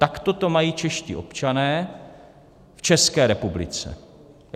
Takto to mají čeští občané v České republice.